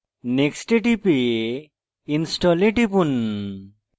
next এ টিপে install এ টিপুন